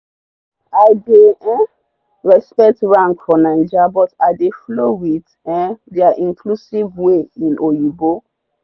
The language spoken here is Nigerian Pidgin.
i dey um respect rank for naija but i dey flow with um their inclusive way in oyinbo